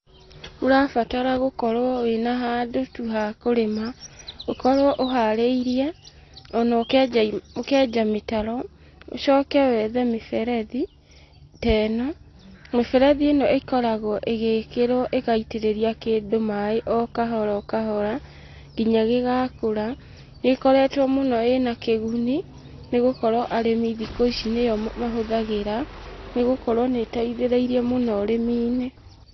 Ũrabatara gũkorwo wĩna handũ-tu hakũrĩma, ũkorwo ũharĩirie, ona ũkenja mĩtaro. Ũcoke wethe mĩberethi teno. Mĩberethi ĩno ĩkoragwo ĩgĩkĩrwo ĩgaitĩrĩria kĩndũ maaĩ okahora okahora nginya gĩgakũra. Nĩ ĩkoretwo mũno ĩna kĩguni, nĩgũkorwo arĩmĩ thikũ ici nĩyo mahũthagĩra, nĩgukorwo nĩ ĩteithĩrĩirie mũno ũrĩmi-inĩ.